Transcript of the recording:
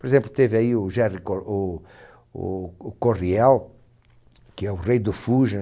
Por exemplo, teve aí o Jerry Co, o, o, o Coryell, que é o rei do fusion,